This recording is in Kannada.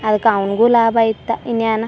ಅದ್ಕ ಅವ್ನಗು ಲಾಭ ಇತ್ತಾ ಇನ್ನೇನ್ --